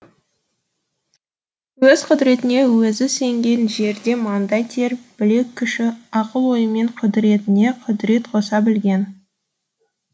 өз құдіретіне өзі сенген жерде маңдай тер білек күші ақыл ойымен құдіретіне құдірет қоса білген